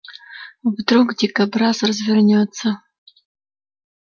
вдруг дикобраз развернётся